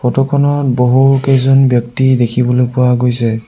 Photo খনত বহুকেইজন ব্যক্তি দেখিবলৈ পোৱা গৈছে।